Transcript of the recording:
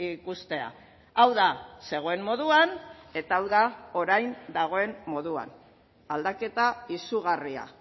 ikustea hau da zegoen moduan eta hau da orain dagoen moduan aldaketa izugarria